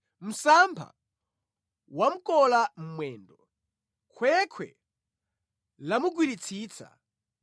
Msampha wamkola mwendo; khwekhwe lamugwiritsitsa.